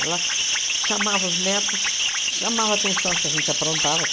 Ela chamava os netos, chamava a atenção se a gente aprontava.